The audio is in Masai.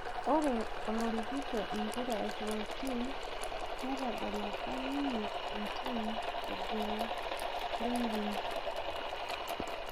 Ore olorikito empira Florentin netadalaka ninye entim e Genclerbirligi